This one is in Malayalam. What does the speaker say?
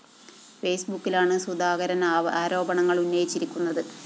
ഫെയ്‌സ്ബുക്കിലാണ് സുധാകരന്‍ ആരോപണങ്ങള്‍ ഉന്നയിച്ചിരിക്കുന്നത്